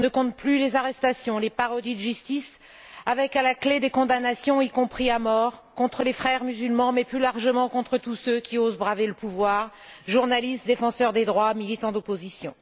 On ne compte plus les arrestations, les parodies de justice avec à la clé des condamnations, y compris à mort, contre les Frères musulmans mais, plus largement, contre tous ceux qui osent braver le pouvoir journalistes, défenseurs des droits, militants d'opposition.